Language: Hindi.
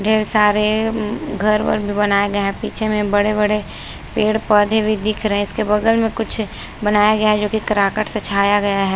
ढेर सारे घर वर भी बनाये गए है पीछे में बड़े बड़े पेड पौधे भी दिख रहा है इसके बगल में कुछ बनाया गया है जो की कराकट से छाया गया है।